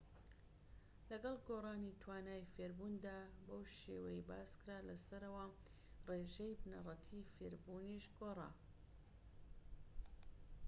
لەگەڵ گۆڕانی توانای فێربووندا بەو شێوەیەی باسکرا لەسەرەوە ڕێژەی بنەڕەتیی فێربوونیش گۆڕاوە